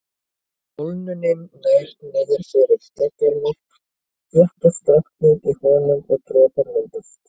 Ef kólnunin nær niður fyrir daggarmark þéttist vatnið í honum og dropar myndast.